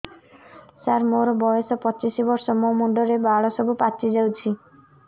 ସାର ମୋର ବୟସ ପଚିଶି ବର୍ଷ ମୋ ମୁଣ୍ଡରେ ବାଳ ସବୁ ପାଚି ଯାଉଛି